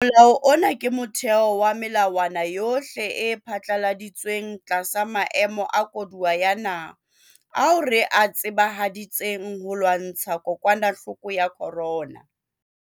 Molao ona ke motheo wa melawana yohle e phatlaladitsweng tlasa maemo a koduwa ya naha ao re a tsebahaditseng ho lwantsha kokwanahloko ya corona.